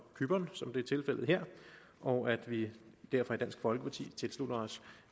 cypern som det er tilfældet her og at vi derfor i dansk folkeparti tilslutter os